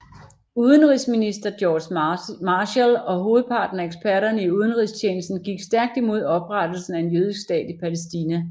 Udenrigsminister George Marshall og hovedparten af eksperterne i udenrigstjenesten gik stærkt imod oprettelsen af en jødisk stat i Palæstina